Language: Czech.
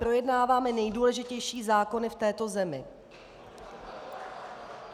Projednáváme nejdůležitější zákony v této zemi!